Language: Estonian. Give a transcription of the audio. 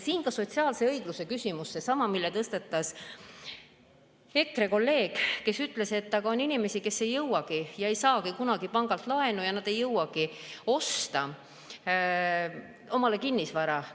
Siin on ka sotsiaalse õigluse küsimus, seesama, mille tõstatas EKRE kolleeg, kes ütles, et on inimesi, kes ei saagi kunagi pangalt laenu ega jõuagi osta omale kinnisvara.